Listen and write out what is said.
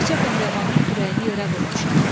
Neçə pəhləvanın kürəyini yerə vurmuşam.